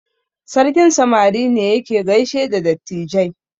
Sarkin samari ne yake gaishe da dattijai.